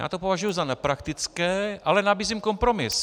Já to považuji za nepraktické, ale nabízím kompromis.